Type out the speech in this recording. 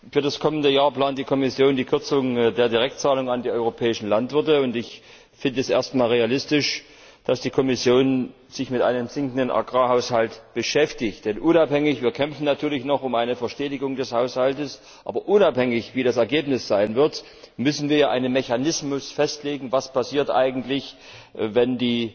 Für das kommende Jahr plant die Kommission die Kürzung der Direktzahlungen an die europäischen Landwirte und ich finde es erst einmal realistisch, dass die Kommission sich mit einem sinkenden Agrarhaushalt beschäftigt. Wir kämpfen natürlich noch um eine Verstetigung des Haushalts, aber unabhängig davon, wie das Ergebnis sein wird, müssen wir ja einen Mechanismus festlegen, was eigentlich passiert, wenn